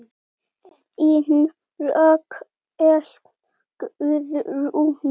Þín Rakel Guðrún.